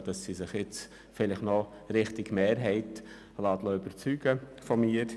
Ich hoffe, dass Sie sich jetzt noch von mir Richtung Mehrheit überzeugen lassen.